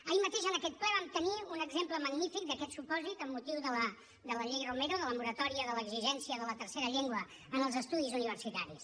ahir mateix en aquest ple vam tenir un exemple magnífic d’aquest supòsit amb motiu de la llei romero de la moratòria de l’exigència de la tercera llengua en els estudis universitaris